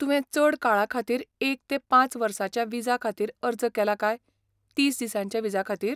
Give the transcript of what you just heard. तुवें चड काळाखातीर एक ते पांच वर्सांच्या विजा खातीर अर्ज केला काय तीस दिसांच्या विजा खातीर?